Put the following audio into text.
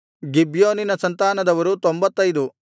ಗಿಬ್ಯೋನಿನ ಸಂತಾನದವರು 95